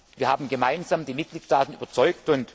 Wir haben gemeinsam die Mitgliedstaaten überzeugt.